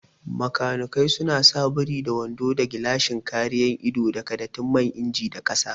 Makanikai suna sa biri da wando da gilashin kare ido daga datti man inji da kasa